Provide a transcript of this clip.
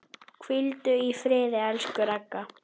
Hvíldu í friði, elsku Ragga.